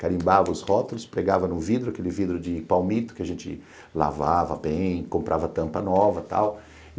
carimbava os rótulos, pregava no vidro, aquele vidro de palmito que a gente lavava bem, comprava tampa nova e tal.